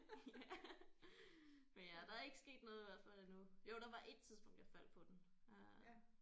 Ja. Men ja der er ikke sket noget i hvert fald endnu jo der var 1 tidspunkt jeg faldt på den øh